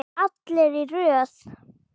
Allir í röð!